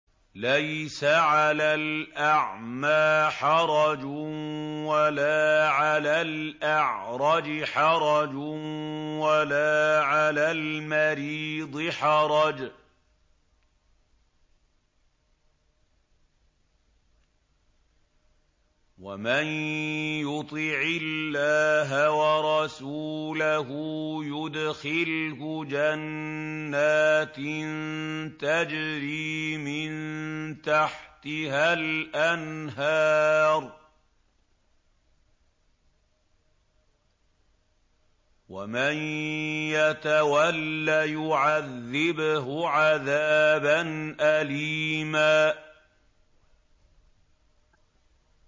لَّيْسَ عَلَى الْأَعْمَىٰ حَرَجٌ وَلَا عَلَى الْأَعْرَجِ حَرَجٌ وَلَا عَلَى الْمَرِيضِ حَرَجٌ ۗ وَمَن يُطِعِ اللَّهَ وَرَسُولَهُ يُدْخِلْهُ جَنَّاتٍ تَجْرِي مِن تَحْتِهَا الْأَنْهَارُ ۖ وَمَن يَتَوَلَّ يُعَذِّبْهُ عَذَابًا أَلِيمًا